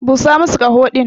Busa masu kaho din.